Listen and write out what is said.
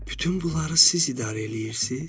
Bütün bunları siz idarə eləyirsiz?